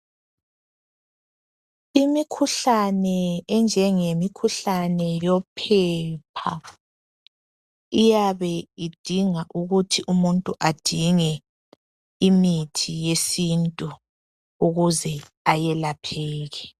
Imikhuhlane enjengemikhuhlane yophepha iyabe idinga ukuthi umuntu adinge imithi yesintu ukuze ayelapheke.